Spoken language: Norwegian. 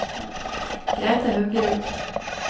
Grethe Haugerud